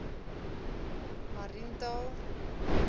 mariental